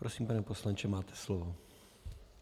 Prosím, pane poslanče, máte slovo.